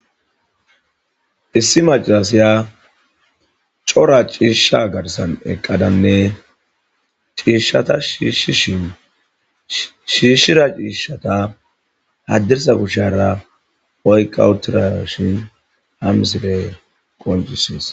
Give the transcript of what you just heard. issi macarasiya cora ciishsha garsan eqqadanne ciishshata shiishishin shiishshira ciishshata haddirsa kushara oyqawutira shin hamisile qoncisees